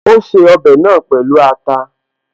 Ó ṣe ọbẹ̀ náà pẹ̀lú ata